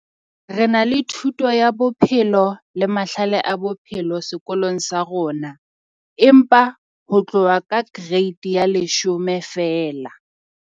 Re na le thuto ya bophelo le mahlale a bophelo sekolong sa rona. Empa ho tloha ka grade ya leshome feela.